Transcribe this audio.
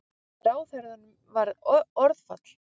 Ráðherranum varð orðfall.